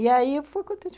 E aí, eu fui contente.